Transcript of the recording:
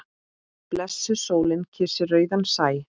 Blessuð sólin kyssir rauðan sæ.